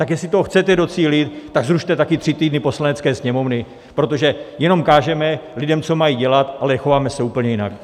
Tak jestli toho chcete docílit, tak zrušte také tři týdny Poslanecké sněmovny, protože jenom kážeme lidem, co mají dělat, ale chováme se úplně jinak!